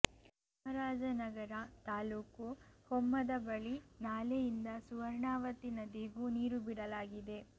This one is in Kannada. ಚಾಮರಾಜನಗರ ತಾಲ್ಲೂಕು ಹೊಮ್ಮದ ಬಳಿ ನಾಲೆಯಿಂದ ಸುವರ್ಣಾವತಿ ನದಿಗೂ ನೀರು ಬಿಡಲಾಗಿದೆ